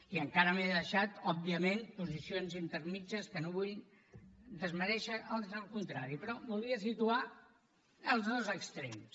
i encara m’he deixat òbviament posicions intermèdies que no vull desmerèixer ans el contrari però volia situar els dos extrems